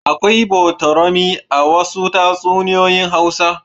Akwai botorami a wasu tatsunoyoyin Hausawa.